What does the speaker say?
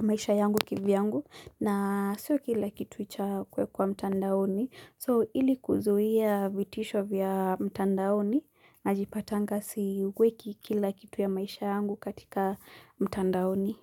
maisha yangu kivyangu na sio kila kitu cha kuwekwa mtandaoni. So ili kuzuia vitisho vya mtandaoni najipatanga siweki kila kitu ya maisha yangu katika mtandaoni.